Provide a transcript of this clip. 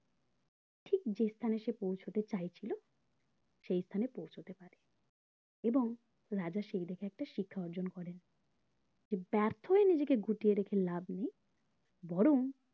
ঠিক যে স্থানে সে পৌঁছাতে চাইছিলো সেই স্থানে পৌঁছতে পারে এবং রাজা সেই দেখে একটা শিক্ষা অর্জন করেন যে ব্যার্থ হয়ে নিজেকে গুটিয়ে রেখে লাভ নেই বরং